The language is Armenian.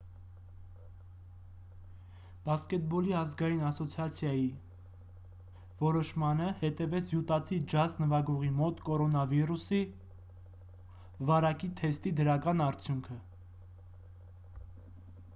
բասկետբոլի ազգային ասոցիացիայի nba որոշմանը հետևեց յուտացի ջազ նվագողի մոտ կորոնավիրուսի covid-19 վարակի թեստի դրական արդյունքը: